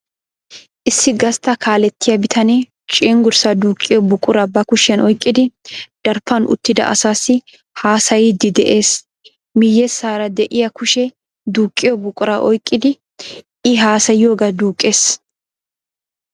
Issi gastta kaalettiya bitanee cenggurssa duuqqiyoo buquraa ba kushiyan oyqqidi daraphphan uttida asassi haasayiiddi de'ees. Miyyessaara de'iyaa kushee duuqqiyo buquraa oyqqidi I haasayiyooga duuqqees.